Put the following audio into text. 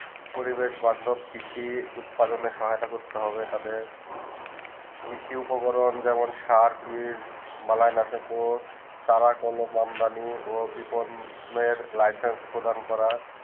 পরিবেশ বাদক কৃষি উৎপাদন সহায়তা করতে হবে তাদের কৃষি উপকরণ যেমন শার্প ওহীল বানালিনাসক তারা কম আমদানি ওর বিপনের লিখন প্রদান করা